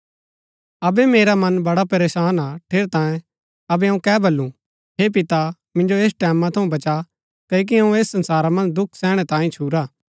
अबै मेरा मन बड़ा परेशान हा ठेरैतांये अबै अऊँ कै बल्लू हे पिता मिन्जो ऐस टैमां थऊँ बचा क्ओकि अऊँ ऐस संसारा मन्ज दुख सैहणै तांयें ही छुरा